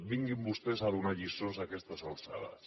vinguin vostès a donar lliçons a aquestes alçades